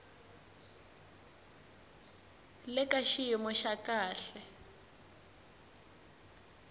le ka xiyimo xa kahle